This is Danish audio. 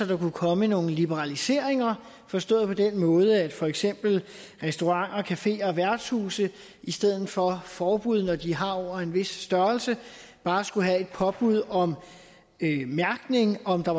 der kunne komme nogle liberaliseringer forstået på den måde at for eksempel restauranter cafeer og værtshuse i stedet for forbud når de har over en vis størrelse bare skulle have et påbud om mærkning af om der